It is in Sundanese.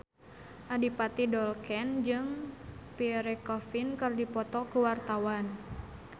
Adipati Dolken jeung Pierre Coffin keur dipoto ku wartawan